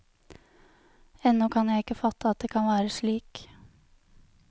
Ennå kan jeg ikke fatte at det kan være slik.